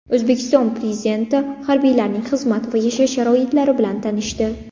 O‘zbekiston Prezidenti harbiylarning xizmat va yashash sharoitlari bilan tanishdi.